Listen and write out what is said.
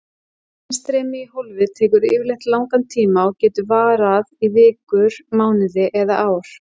Innstreymi í hólfið tekur yfirleitt langan tíma og getur varað í vikur, mánuði eða ár.